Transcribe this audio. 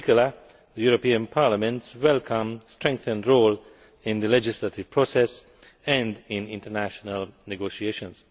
regard to Parliament's welcome strengthened role in the legislative process and in international negotiations.